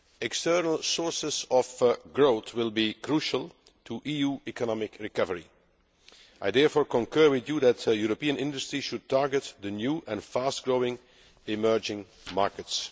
External sources of growth will be crucial to EU economic recovery. I therefore concur with you that European industry should target the new and fast growing emerging markets.